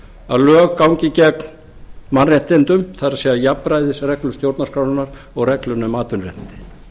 að lög gangi gegn mannréttindum það er jafnræðisreglu stjórnarskrárinnar og reglunnar um atvinnuréttindi